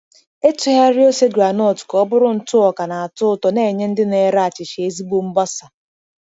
Ịtụgharị ose groundnut ka ọ bụrụ ntụ ọka na-atọ ụtọ na-enye ndị na-ere achịcha ezigbo mgbasa.